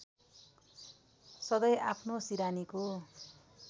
सधैँ आफ्नो सिरानीको